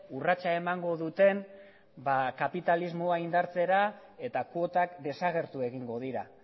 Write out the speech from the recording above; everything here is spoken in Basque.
urratsa emango duten kapitalismoa indartzera eta kuotak desagertu egingo dira